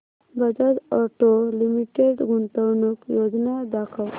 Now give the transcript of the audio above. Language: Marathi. बजाज ऑटो लिमिटेड गुंतवणूक योजना दाखव